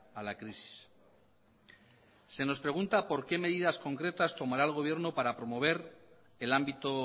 a la crisis se nos pregunta por qué medidas concretas tomará el gobierno para promover el ámbito